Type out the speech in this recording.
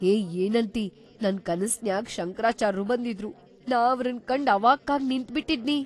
ಹೇ ಏನಂತಿ ನನ್‌ ಕನಸ್ನ್ಯಾಗ್ ಶಂಕರಾಚಾರ್ರು ಬಂದಿದ್ರು, ನಾ ಅವ್ರನ್‌ ಕಂಡ್ ಅವಾಕ್ಕಾಗ್‌ ನಿಂತ್ಬಿಟ್ಟಿದ್ನಿ.